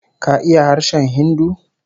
KA iya harshen Hindu?